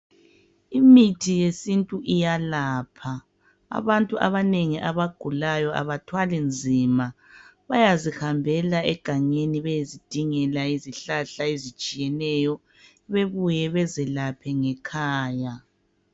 Imithi yesintu iyalapha. Abantu abanengi abagulayo abathwali nzima. Bayazihambela egangeni beyezidingela izihlahla ezitshiyeneyo. Bebuye bezilaphe ngekhaya.